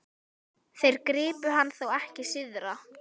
Þeir gripu hann þó ekki syðra?